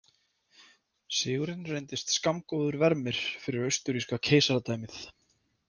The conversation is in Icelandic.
Sigurinn reyndist skammgóður vermir fyrir austurríska keisaradæmið.